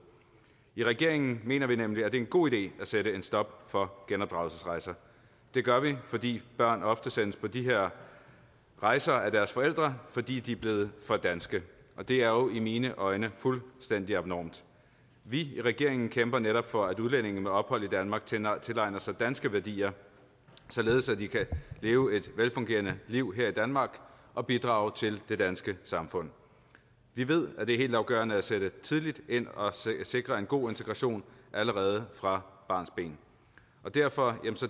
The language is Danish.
i regeringen mener vi nemlig at det er en god idé at sætte en stopper for genopdragelsesrejser det gør vi fordi børn ofte sendes på de her rejser af deres forældre fordi de er blevet for danske det er jo i mine øjne fuldstændig abnormt vi i regeringen kæmper netop for at udlændinge med ophold i danmark tilegner sig danske værdier således at de kan leve et velfungerende liv her i danmark og bidrage til det danske samfund vi ved det er helt afgørende at sætte tidligt ind og sikre en god integration allerede fra barnsben derfor